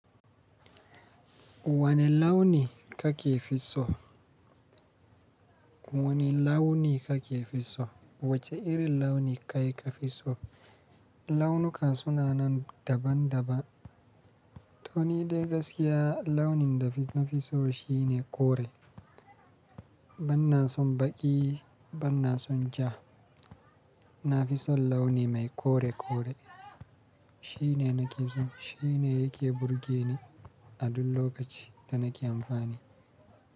Wane launi kake fi so? Wane launi kake fi so? Wace irin launi kai ka fi so? Launuka suna nan daban daban. To ni dai gaskiya launin da na fi so shine kore. Banna son baƙi, banna son ja. Na fi son launi mai kore kore. Shi ne na ke so. Shi ne yake burge ni a duk lokacin da nake amfani.